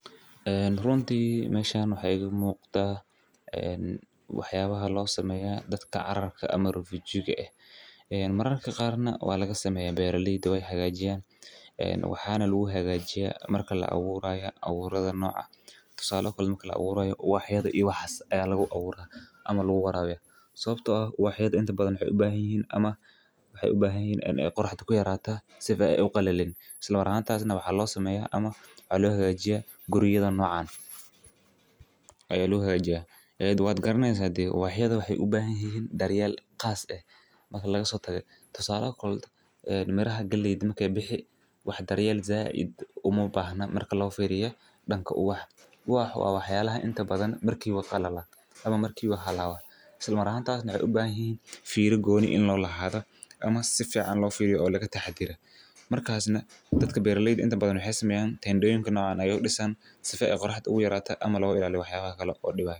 Ee runti meshan maxaa iga muqda waxaa laa sameya uwaxyada iyo waxyala aya laga abura isla markas nah guriya nocan aya lo hagajiya waa waxyala isla markas mah halaba dadka beera ledya maxee u sameyan guri nican si ee oga rewan qoraxda ama kulelka.